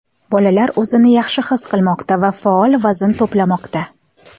Bolalar o‘zini yaxshi his qilmoqda va faol vazn to‘plamoqda.